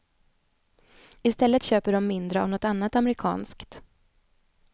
I stället köper de mindre av något annat amerikanskt.